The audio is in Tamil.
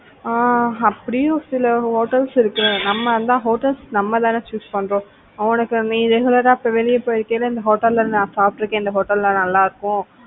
ஆஹ் அப்படியு சில hotels இருக்கு நம்ம hotels நம்ம தான choose பண்றோம் உனக்கு நீ regular ஆ நான் வெளியில போய்ட்டு இந்த hotel ல நான் சாப்பிட்டு இருக்கேன் இந்த hotel ல நல்லா இருக்கும்.